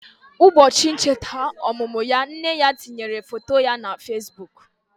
Ụbọchị ncheta ọmụmụ ya, nne ya tinyere foto ya na Fesbụụk.